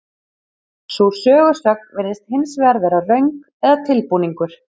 Sú sögusögn virðist hins vegar vera röng eða tilbúningur.